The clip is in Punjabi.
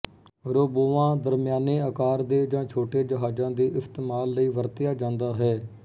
ਰੋਬੋਆਂ ਦਰਮਿਆਨੇ ਆਕਾਰ ਦੇ ਜਾਂ ਛੋਟੇ ਜਹਾਜ਼ਾਂ ਦੇ ਇਸਤੇਮਾਲ ਲਈ ਵੀ ਵਰਤਿਆ ਜਾਂਦਾ ਹੈ